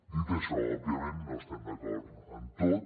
dit això òbviament no estem d’acord en tot